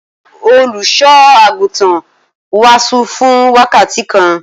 Olùṣọ́-àgùntàn wàásù fún wákàtí kan.